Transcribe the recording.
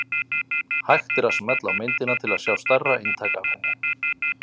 Hægt er að smella á myndina til að sjá stærra eintak af henni.